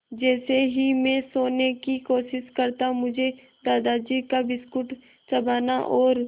जैसे ही मैं सोने की कोशिश करता मुझे दादाजी का बिस्कुट चबाना और